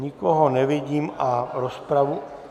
Nikoho nevidím a rozpravu...